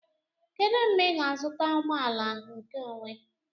Kedu mgbe ị ga-azụta ụgbọ ala nkeonwe?